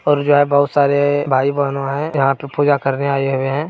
और जो है बहुत सारे भाई बहनो है यहाँ पे पूजा करने आए हुए है।